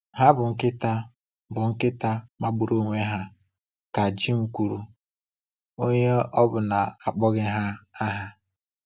“Ha bụ nkịta bụ nkịta magburu onwe ha,” ka Jim kwuru, onye ọbụna akpọghị ha aha.